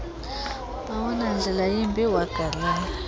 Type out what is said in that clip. awunandlela yimbi wagalele